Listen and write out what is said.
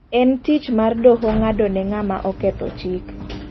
En tich mar doho ng'ado ne ng'ama oketho chik.